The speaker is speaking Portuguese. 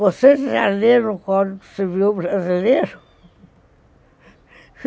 Você já leram o Código Civil Brasileiro?